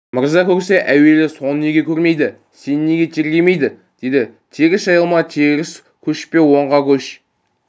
мырза көрсе әуелі соны неге көрмейді сені неге тергемейді деді теріс жайылма теріс көшпе оңға көш